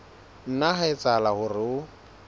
nna ha etsahala hore o